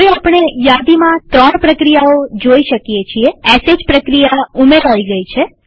હવે આપણે યાદીમાં ૩ પ્રક્રિયાઓ જોઈ શકીએ છીએsh પ્રક્રિયા ઉમેરાઈ ગઈ છે